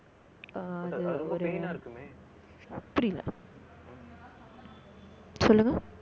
புரியல சொல்லுங்க